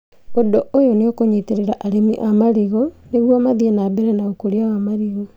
ũndũ ũyũ nĩũkũnyitĩrĩra arĩmi a marigũ nĩguo mathiĩ na mbere na ũkũria wa marigũ